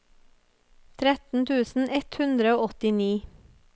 tretten tusen ett hundre og åttini